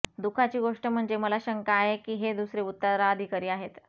दुःखाची गोष्ट म्हणजे मला शंका आहे की हे दुसरे उत्तराधिकारी आहे